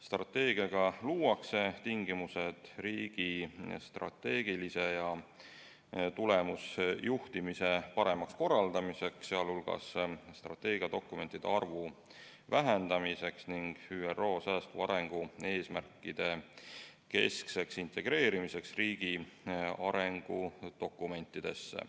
Strateegiaga luuakse tingimused riigi strateegilise ja tulemusjuhtimise paremaks korraldamiseks, sh strateegiadokumentide arvu vähendamiseks ning ÜRO säästva arengu eesmärkide keskseks integreerimiseks riigi arengu dokumentidesse.